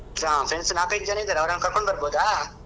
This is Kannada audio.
ಹಾ friends ನಾಲ್ಕೈದು ಜನ ಇದ್ದಾರೆ ಅವ್ರನ್ನ ಕರ್ಕೊಂಡು ಬರ್ಬೋದಾ?